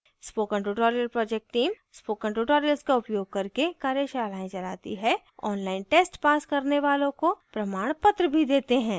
spoken tutorial project team spoken tutorial का उपयोग करके कार्यशालाएँ चलाती है ऑनलाइन टेस्ट पास करने वालों को प्रमाणपत्र भी देते हैं